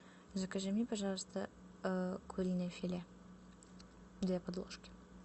закажи мне пожалуйста куриное филе две подложки